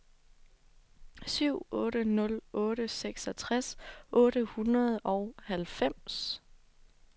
syv otte nul otte seksogtres otte hundrede og halvfems